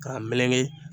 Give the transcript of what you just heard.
K'a meleke